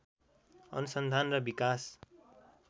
अनुसन्धान र विकास